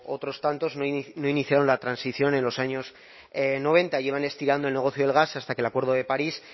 otros tantos no iniciaron la transición en los años noventa llevan estirando el negocio del gas hasta que el acuerdo de parís